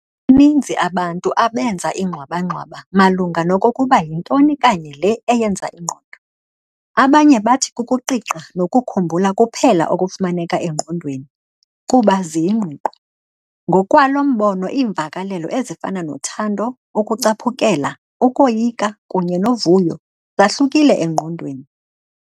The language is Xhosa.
Baninzi abantu abenza ingxwabangxwaba malunga nokokuba yintoni kanye le eyenza ingqondo. Abanye bathi kukuqiqa nokukhumbula kuphela okufumaneka engqondweni, kuba ziyingqiqo. ngokwalo mbono iimvakalelo ezifana nothando, ukucaphukela, ukoyika kunye nouvuyo zahlukile engqondweni.